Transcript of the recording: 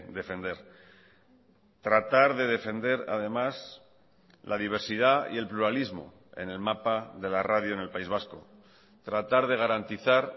defender tratar de defender además la diversidad y el pluralismo en el mapa de la radio en el país vasco tratar de garantizar